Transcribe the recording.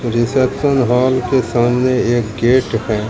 Reception hall के सामने एक गेट है।